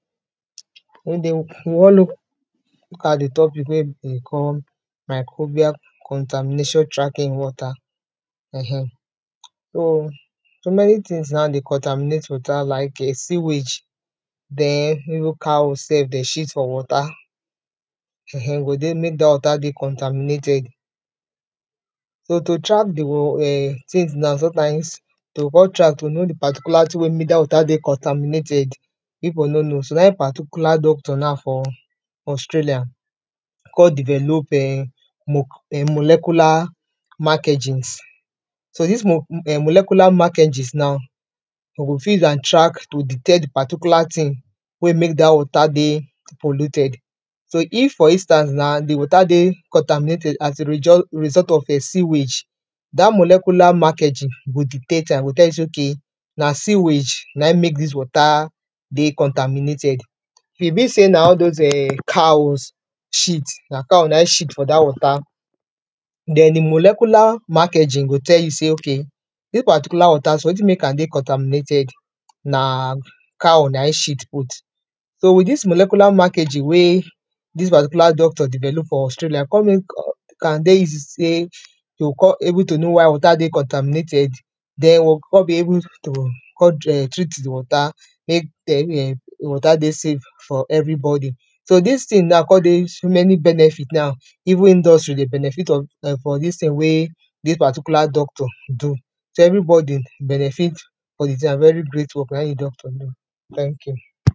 we look at di topic wey dey call Microbial contamination tracking water um so, so many things now dey contaminate water like di sewage, den even cow self dem shit for water, um e go dey make dat water dey contaminated, so to track di um things na, sometimes, you go come track to know wetin make dat water dey contaminated, people no know so na im particular doctor now for Australia, come develop um mo molecular mark engines dis molecular mark engines now, we go fit use am track to detect di particular thing, wey make dat water dey polluted. So if for instance now, di water dey contaminated as a result result of a sewage, dat molecular mark engines go detect am, sey okay na sewage na im make dis water dey contaminated if e be sey na all those, um cow shit, na cow na im shit for dat water, den di molecular mark engines go tell you sey okay, dis particular water so, wetin make am dey contaminated, na cow na im shit put, so with dis molecular mark engine wey dis particular doctor develop for Australia come make am dey easy sey, e go come able to know why water dey contaminated, den we come be able to come um treat di water. Make dem um di water dey safe for every body, so dis thing now, come dey so many benefit now. Even industry dey benefit of from dis thing wey dis particular doctor do, so everybody benefit, very great work na im di doctor do, thank you.